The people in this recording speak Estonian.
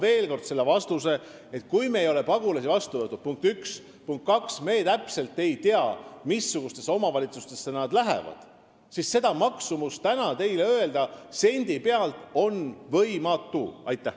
Vastan veel kord, et punkt 1, kui me ei ole veel pagulasi vastu võtnud, ja punkt 2, kui me täpselt ei tea, missugustesse omavalitsustesse nad lähevad, siis on seda maksumust võimatu teile täna sendi pealt öelda.